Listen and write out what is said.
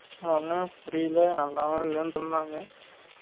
என் அன்னே புரியல நல்லாவே இல்லன்டு இருந்தாங்க